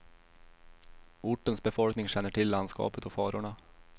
Ortens befolkning känner till landskapet och farorna.